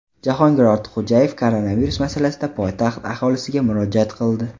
Jahongir Ortiqxo‘jayev koronavirus masalasida poytaxt aholisiga murojaat qildi.